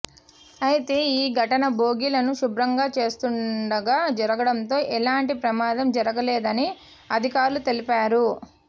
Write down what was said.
అయితే ఈ ఘటన బోగీలను శుభ్రంగా చేస్తుండగా జరుగడంతో ఏలాంటి ప్రమాదం జరుగలేదని అధికారులు తెలిపారు